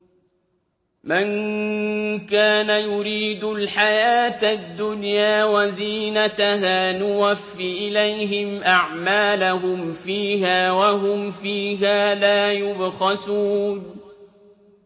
مَن كَانَ يُرِيدُ الْحَيَاةَ الدُّنْيَا وَزِينَتَهَا نُوَفِّ إِلَيْهِمْ أَعْمَالَهُمْ فِيهَا وَهُمْ فِيهَا لَا يُبْخَسُونَ